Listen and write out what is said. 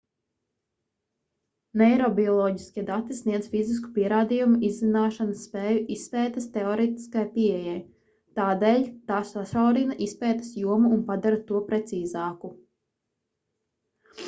neirobioloģiskie dati sniedz fizisku pierādījumu izzināšanas spēju izpētes teorētiskajai pieejai tādēļ tā sašaurina izpētes jomu un padara to precīzāku